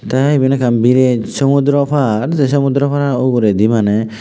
tey eban ekkan bired sumotdoro par say sumotdoro par uguredi maneh.